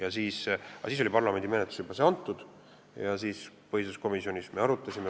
Aga eelnõu oli parlamendi menetlusse juba antud ja me seda põhiseaduskomisjonis arutasime.